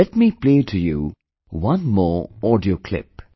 Let me play to you one more audio clip